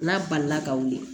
N'a balila ka wuli